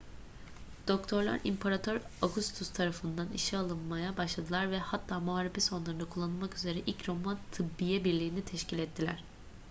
doktorlar i̇mparator augustus tarafından işe alınmaya başladılar ve hatta muharebe sonralarında kullanılmak üzere ilk roma tıbbiye birliği'ni teşkil ettiler